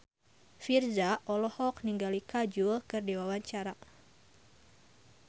Virzha olohok ningali Kajol keur diwawancara